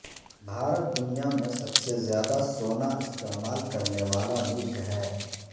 بھارت دنیا میں سب سے زیادہ سونا استعمال کرنے والا ملک ہے